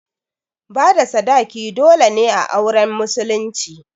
Bada sadaki dole ne a auren musulunci